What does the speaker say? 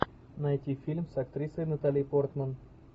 найти фильм с актрисой натали портман